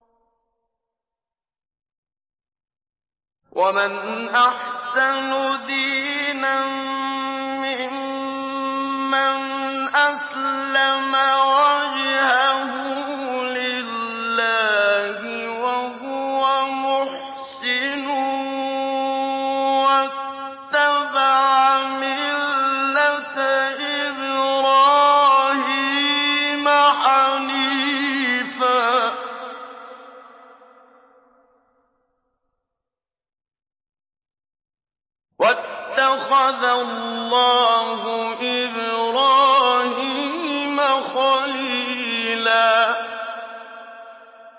وَمَنْ أَحْسَنُ دِينًا مِّمَّنْ أَسْلَمَ وَجْهَهُ لِلَّهِ وَهُوَ مُحْسِنٌ وَاتَّبَعَ مِلَّةَ إِبْرَاهِيمَ حَنِيفًا ۗ وَاتَّخَذَ اللَّهُ إِبْرَاهِيمَ خَلِيلًا